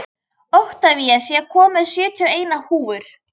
Oktavías, ég kom með sjötíu og eina húfur!